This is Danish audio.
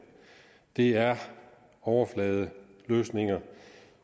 det er overfladeløsninger